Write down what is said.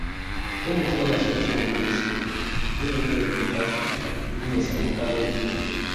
Idan mutum yana son cimma burinsa, dole ne ya rubuta su domin ya samu kwarin gwiwa.